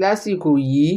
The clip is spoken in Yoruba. lásìkò yìí